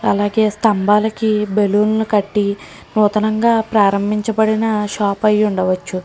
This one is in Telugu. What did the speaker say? అలాగే స్తంభాలకు బెలూన్లు కట్టి నూతనంగా ప్రారంభించబడిన షాపు అయి ఉండవచ్చు.